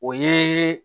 O ye